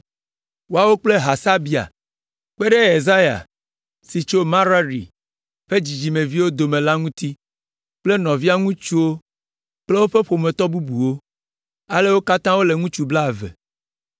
Woawo kple Hasabia, kpe ɖe Yesaya si tso Merari ƒe dzidzimeviwo dome la ŋuti kple nɔvia ŋutsuwo kple woƒe ƒometɔ bubuwo, ale wo katã wole ŋutsu blaeve.